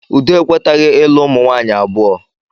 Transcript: Udo ekwetaghi ịlụ umunwanyị abụọ